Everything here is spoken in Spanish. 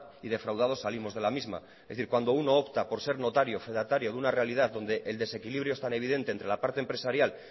y defraudados salimos de la misma es decir cuando uno opta por ser notario fedatario de una realidad donde el desequilibrio es tan evidente entre la parte empresarial